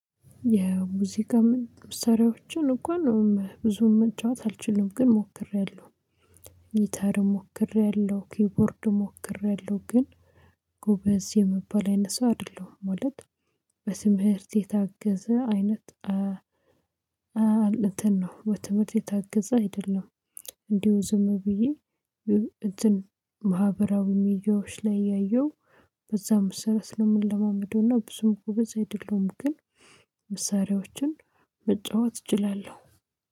የሙዚቃ ምስሪያዎችን እንኳን ብዙ መጫወት አልችልም ግን ሞክሬያለሁ። ጊታርም ሞክሬያለሁ ኪቦርድም ሞክሬያለሁ ግን ጎበዝ የምባል አይነት ሰው አይደለሁም። ማለት በትምህርት የታገዘ አይነት እንትን ነው በትምህርት የታገዘ አይደለም። እንዲሁ ዝም ብዬ እንትን ማህበራዊ ሚዲያዎች ላይ እያየው በዛ መሰረት እምለማደውና ብዙም እኮ ግበዝ አይደለሁም። ግን መሳሪያዎችን መጫወት እችላለሁ